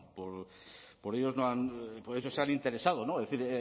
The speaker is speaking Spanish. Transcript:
por ellos no han por eso se han interesado es decir